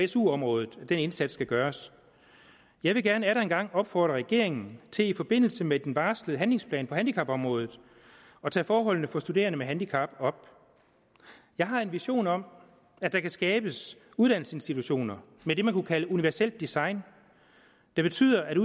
su området at den indsats skal gøres jeg vil gerne atter en gang opfordre regeringen til i forbindelse med den varslede handlingsplan på handicapområdet at tage forholdene for studerende med handicap op jeg har en vision om at der kan skabes uddannelsesinstitutioner med det man kunne kalde universelt design det betyder at